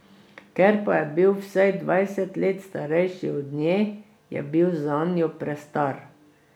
Ker pa je bil vsaj dvajset let starejši od nje, je bil zanjo prestar.